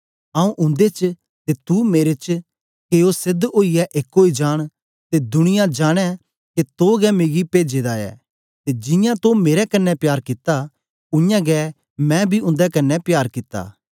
आऊँ उन्दे च ते तू मेरे च के ओ सेध ओईयै एक ओई जान ते दुनिया जानें के तो गै मिगी भेजे दा ऐ ते जियां तो मेरे कन्ने प्यार कित्ता उयांगै मैं बी उन्दे कन्ने प्यार कित्ता